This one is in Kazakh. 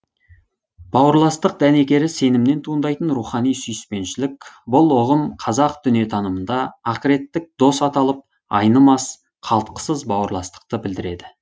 бауырластық дәнекері сенімінен туындайтын рухани сүйіспеншілік бұл ұғым қазақ дүниетанымында ақыреттік дос аталып айнымас қалтқысыз бауырластықты білдіреді